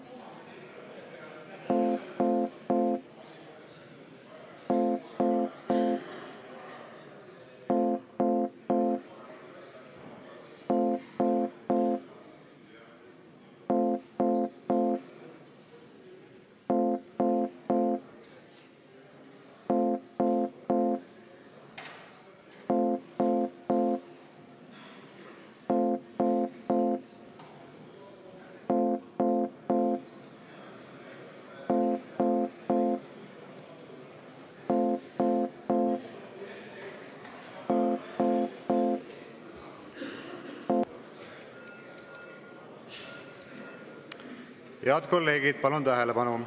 Head kolleegid, palun tähelepanu!